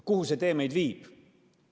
Kuhu see tee meid viib?